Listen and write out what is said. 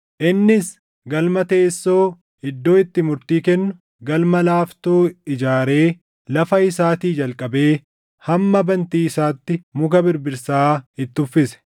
Innis galma teessoo, iddoo itti murtii kennu galma laaftoo ijaaree lafa isaatii jalqabee hamma bantii isaatti muka birbirsaa itti uffise.